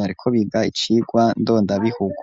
bariko biga icigwa ndondabihugu.